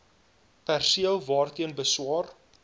perseel waarteen beswaar